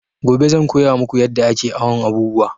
Gobe zan koya maku yadda ake awon abubuwa